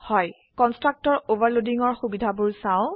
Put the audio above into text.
constructor ওভাৰলোডিংৰ সুবিধাবোৰ চাও